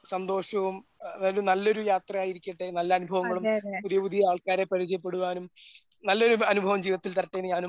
സന്തോഷവും അതായത് നല്ലൊരു യാത്ര ആയിരിക്കട്ടെ നല്ല അനുഭവങ്ങളും പുതിയ പുതിയ ആൾക്കാരെ പരിചയപ്പെടുവാനും നല്ലൊരു അനുഭവം ജീവിതത്തിൽ തരട്ടെ എന്ന് ഞാനും